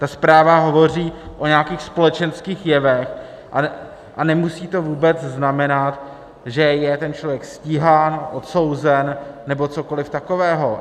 Ta zpráva hovoří o nějakých společenských jevech a nemusí to vůbec znamenat, že je ten člověk stíhán, odsouzen nebo cokoliv takového.